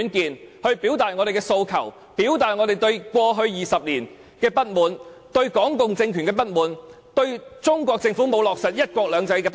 讓我們一起表達我們的訴求及過去20年的不滿，還有我們對港共政權的不滿，以及對中國政府沒有落實"一國兩制"的不滿......